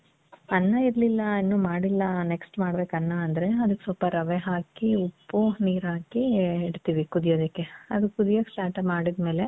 ಅನ್ನ ಇರ್ಲಿಲ್ಲ ಇನ್ನು ಮಾಡಿಲ್ಲ next ಮಾಡ್ಬೇಕು ಅನ್ನ ಅಂದ್ರೆ ಅದುಕ್ ಸ್ವಲ್ಪ ರವೆ ಹಾಕಿ ಉಪ್ಪು, ನೀರು ಹಾಕಿ ಇಡ್ತೀವಿ ಕುಡಿಯೋದಕ್ಕೆ. ಅದು ಕುದಿಯಕ್ ಸ್ಟಾರ್ಟ್ ಮಾಡದ್ಮೇಲೆ,